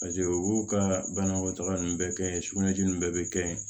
u y'u ka banakɔtaga ninnu bɛɛ kɛ yen sugunɛji ninnu bɛɛ bɛ kɛ yen